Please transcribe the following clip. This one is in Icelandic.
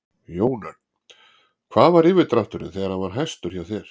Jón Örn: Hvað var yfirdrátturinn þegar hann var hæstur hjá þér?